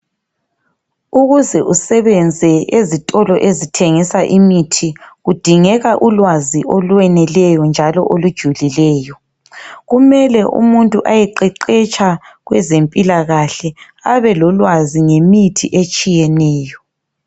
Ukuze usebenze ezitolo ezithengisa imithi kudingeka ulwazi olweneleyo njalo olujulileyo, kumele umuntu ayeqeqetsha kwezempilakahle abelolwazi ngemithi etshiyeneyo.